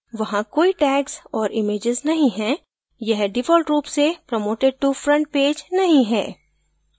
वहाँ कोई tags और images नहीं है यह default रूप से promoted to front page नहीं है